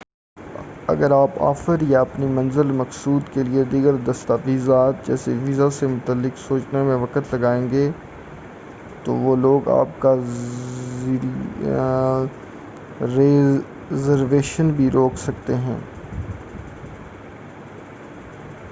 اگر آپ آفر یا اپنی منزل مقصود کیلئے دیگر دستاویزات جیسے ویزا سے متعلق سوچنے میں وقت لگائیں گے تو وہ لوگ آپ کا ریزرویشن بھی روک سکتے ہیں۔